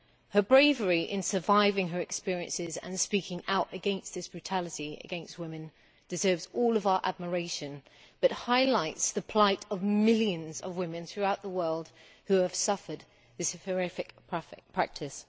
Her bravery in surviving her experiences and speaking out against this brutality against women deserves all of our admiration, and also highlights the plight of millions of women throughout the world who have suffered this horrific practice.